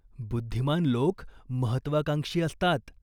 बुद्धिमान लोक महत्त्वाकांक्षी असतात.